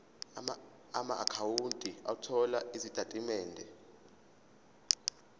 amaakhawunti othola izitatimende